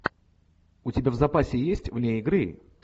у тебя в запасе есть вне игры